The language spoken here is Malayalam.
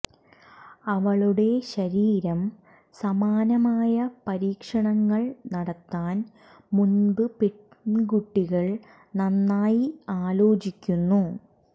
അവളുടെ ശരീരം സമാനമായ പരീക്ഷണങ്ങൾ നടത്താൻ മുമ്പ് പെൺകുട്ടികൾ നന്നായി ആലോചിക്കുന്നു